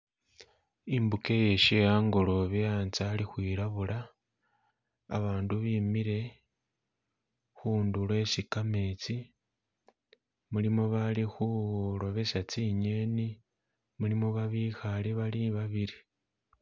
Imbuga ye shehangolobe hanze hali khwilabula abatu bimile kundulo hesi kamezi mulimo abali khulobesa zinyeni, mulimo babikhale bali babili